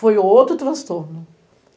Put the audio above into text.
Foi outro transtorno.